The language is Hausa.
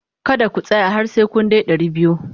Kada ku tsaya har sai kun kai dari biyu!